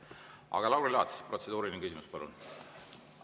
Aga Lauri Laats, protseduuriline küsimus, palun!